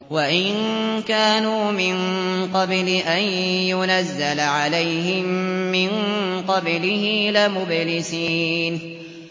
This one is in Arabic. وَإِن كَانُوا مِن قَبْلِ أَن يُنَزَّلَ عَلَيْهِم مِّن قَبْلِهِ لَمُبْلِسِينَ